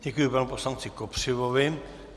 Děkuji panu poslanci Kopřivovi.